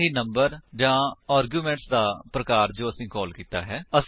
ਨਾ ਹੀ ਨੰਬਰ ਜਾਂ ਆਰਗਿਉਮੇਂਟ ਦਾ ਪ੍ਰਕਾਰ ਜੋ ਅਸੀਂ ਕਾਲ ਕੀਤਾ ਹੈ